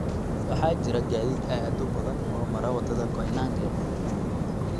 waxaa jira gaadiid aad u badan oo mara wadada koinange